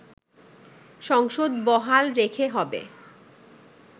সংসদ বহাল রেখে হবে